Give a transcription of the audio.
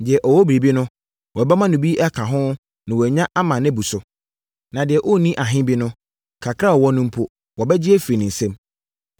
Deɛ ɔwɔ biribi no, wɔbɛma no bi aka ho na wanya ma abu ne so. Na deɛ ɔnni ahe bi no, kakra a ɔwɔ no mpo, wɔbɛgye afiri ne nsam.